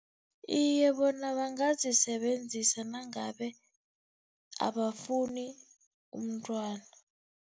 Iye, bona bangazisebenzisa nangabe abafuni umntwana.